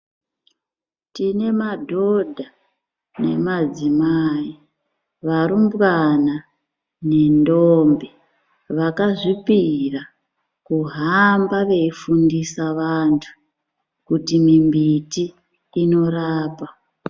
Tine madhodha nemadzimai varumbwana nendombi vakasvipira kuhamba veyifundisa vantu kuti mumbiti inorapa.